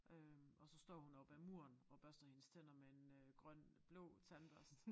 Øh og så står hun op ad muren og børster hendes tænder med en øh grøn blå tandbørste